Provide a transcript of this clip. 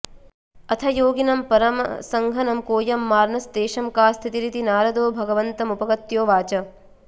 अथ योगिनं परमहंसनं कोऽयं मार्नस्तेषं का स्थितिरिति नारदो भगवन्तमुपगत्योवाच